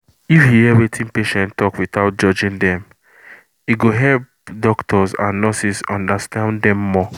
if you hear wetin patient talk without judging dem e go help doctors and nurses understand dem more